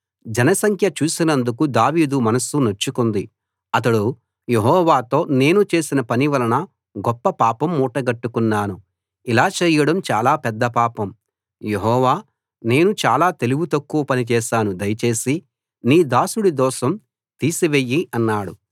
జనసంఖ్య చూసినందుకు దావీదు మనస్సు నొచ్చుకుంది అతడు యెహోవాతో నేను చేసిన పని వలన గొప్ప పాపం మూటగట్టుకున్నాను ఇలా చేయడం చాలా పెద్ద పాపం యెహోవా నేను చాలా తెలివి తక్కువ పని చేశాను దయచేసి నీ దాసుడి దోషం తీసివెయ్యి అన్నాడు